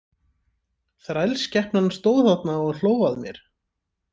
Þrælsskepnan stóð þarna og hló að mér.